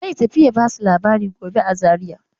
Zai tafi ya ba su labari gobe a Zaria.